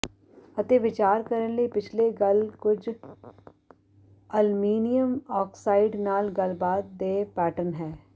ਅਤੇ ਵਿਚਾਰ ਕਰਨ ਲਈ ਪਿਛਲੇ ਗੱਲ ਕੁਝ ਅਲਮੀਨੀਅਮ ਆਕਸਾਈਡ ਨਾਲ ਗੱਲਬਾਤ ਦੇ ਪੈਟਰਨ ਹੈ